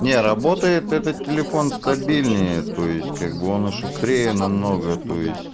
не работает этот телефон стабильнее то есть как бы он и шустрее намного то есть